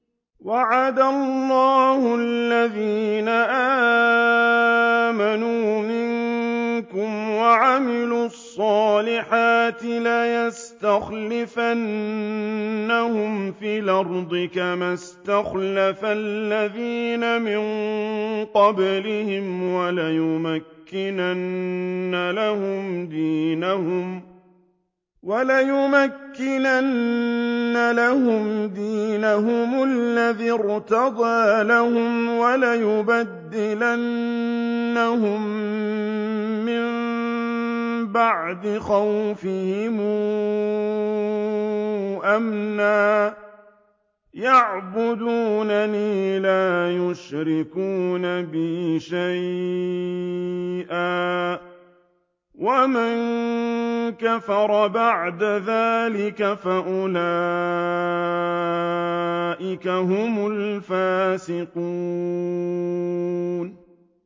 وَعَدَ اللَّهُ الَّذِينَ آمَنُوا مِنكُمْ وَعَمِلُوا الصَّالِحَاتِ لَيَسْتَخْلِفَنَّهُمْ فِي الْأَرْضِ كَمَا اسْتَخْلَفَ الَّذِينَ مِن قَبْلِهِمْ وَلَيُمَكِّنَنَّ لَهُمْ دِينَهُمُ الَّذِي ارْتَضَىٰ لَهُمْ وَلَيُبَدِّلَنَّهُم مِّن بَعْدِ خَوْفِهِمْ أَمْنًا ۚ يَعْبُدُونَنِي لَا يُشْرِكُونَ بِي شَيْئًا ۚ وَمَن كَفَرَ بَعْدَ ذَٰلِكَ فَأُولَٰئِكَ هُمُ الْفَاسِقُونَ